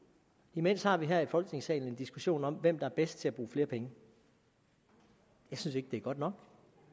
imens har vi her i folketingssalen en diskussion om hvem der er bedst til at bruge flere penge jeg synes ikke det er godt nok